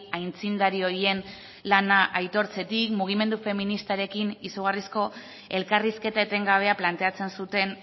aitzindari horien lana aitortzetik mugimendu feministarekin izugarrizko elkarrizketa etengabea planteatzen zuten